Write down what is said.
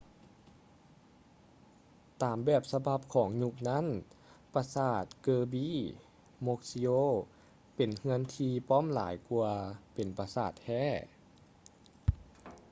ຕາມແບບສະບັບຂອງຍຸກນັ້ນປະສາດ kirby muxioe ເປັນເຮືອນທີ່ປ້ອມຫຼາຍກວ່າເປັນປະສາດແທ້